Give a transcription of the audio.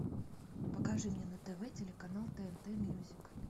покажи мне на тв телеканал тнт мьюзик